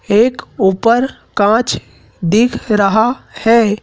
एक ऊपर कांच दिख रहा है।